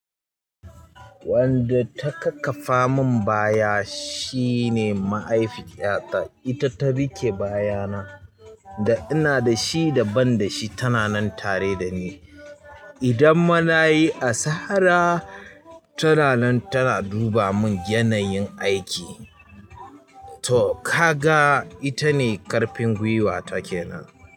Wanda ta kak ƙafa mun baya shine mahaifiyata. Ita ta riƙe bayana da ina da shi da ban da shi tana nan tare da ni. Idan ma na yi asara. Tana nan tana duba mun yanayin aiki. To ka ga ita ne karpin gwiwa take kenan.